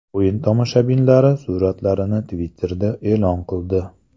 O‘yin tomoshabinlari suratlarni Twitter’da e’lon qildi .